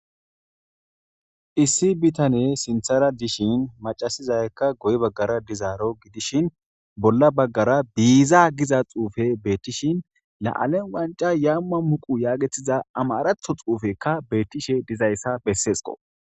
Issi bitane sinthara dishin macasizaykka goye baggara dizaaro gidishin bolla baggara biiza giza xuufe beettishin la'alen wanca yaamma muqu yaagetiza amaratho xuufekka beettishe dizayssa besseesko